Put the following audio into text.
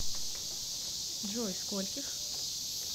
джой скольких